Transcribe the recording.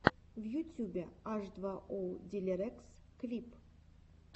в ютюбе аш два оу дилириэс клип